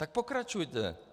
Tak pokračujte.